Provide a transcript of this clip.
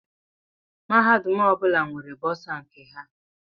Mahadum ọbụla nwere bọsa nke ha.